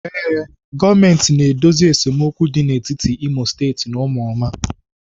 Ee, gọọmentị na-edozi esemokwu dị n'etiti Imo State na ụmụoma.